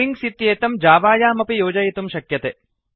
strings इत्येतं जावायामपि योजयितुं शक्यते